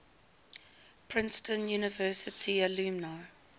princeton university alumni